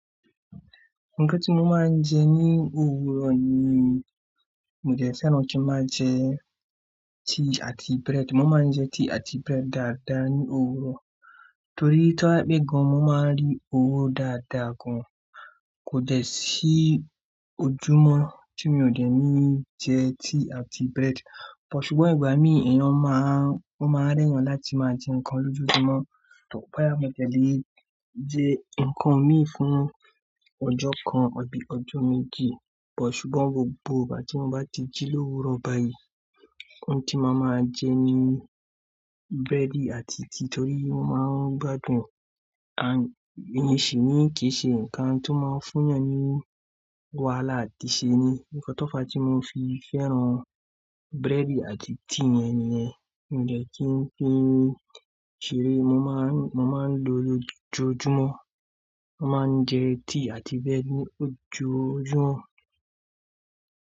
Nǹkan tí mo máa ń jẹ ní òwúrọ̀ ni, mo dẹ̀ fẹ́ràn kín máa jẹ tíì àti bread. Mo máa ń jẹ tíì àti bread dáadáa ní òwúrọ̀ torí tí o bá jẹ́ pé gan mo máa rí owó dáadáa gan. Kò dẹ̀ sí ojúmọ́ tí mi ò dẹ̀ ní jẹ tíì àti bread. Bò ṣùgbọ́n ìgbà míì èèyàn máa, o máa rẹ̀ èyàn láti máa jẹ ǹkan lójúumọ́, tó bóyá mo dẹ̀ lè jẹ ǹkan mi fún ọjọ́ kan àbí ọjọ́ méjì. Bò ṣùgbọ́n gbogbo ìgbà tí mo bá ti jí lówúrọ̀ báyìí, oun tí mo máa máa jẹ ni búrẹ́dì àti tíì torí mo máa ń gbádùn e and n sì ni kìí ṣe ǹkan tí ó máa ń fún yàn ní wàhálà àti ṣe ni. Ǹkan tó fa tí mo fi fẹ́ràn búrẹ́dì àti tíì yẹn nìyẹn. Mo dẹ̀ kíń fi ṣeré, mo máa ń, mo máa ń lo lójúumọ́. Mo máa ń jẹ tíì àti bread ní ojoojúmọ́.